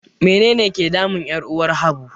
Menene ke damun 'yar uwar Habu?